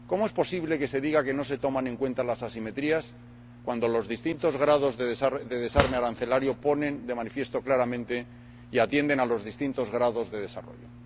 ¿Cómo es posible que se diga que no se tienen en cuenta las asimetrías cuando los distintos grados de desarme arancelario ponen de manifiesto claramente y atienden a los distintos grados de desarrollo?